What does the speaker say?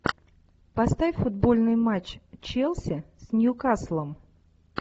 поставь футбольный матч челси с ньюкаслом